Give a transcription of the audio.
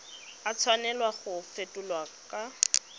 a tshwanela go fetolwa kwa